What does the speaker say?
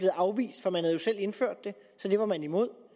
afvist for man havde jo selv indført det så det var man imod